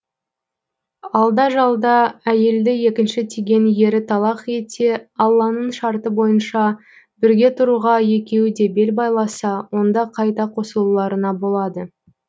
алда жалда әйелді екінші тиген ері талақ етсе алланың шарты бойынша бірге тұруға екеуі де бел байласа онда қайта қосылуларына болады